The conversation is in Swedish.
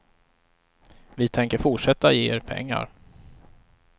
Vi tänker fortsätta ge er pengar.